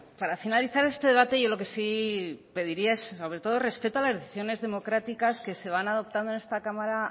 para finalizar este debate yo lo que sí pediría es sobre todo respeto a las decisiones democráticas que se van adoptando en esta cámara